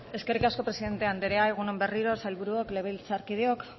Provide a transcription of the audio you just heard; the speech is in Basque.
eskerrik asko presidente anderea egun on berriro sailburuok legebiltzarkideok